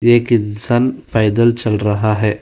एक इंसान पैदल चल रहा है।